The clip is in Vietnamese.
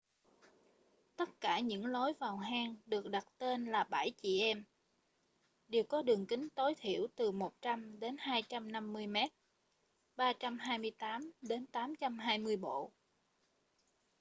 tất cả những lối vào hang được đặt tên là bảy chị em” đều có đường kính tối thiểu từ 100 đến 250 mét 328 đến 820 bộ